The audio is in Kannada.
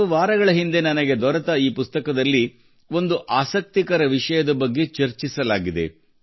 ಕೆಲ ವಾರಗಳ ಹಿಂದೆ ನನಗೆ ದೊರೆತ ಪುಸ್ತಕದಲ್ಲಿ ಒಂದು ಆಸಕ್ತಿಕರ ವಿಷಯದ ಬಗ್ಗೆ ಚರ್ಚಿಸಲಾಗಿದೆ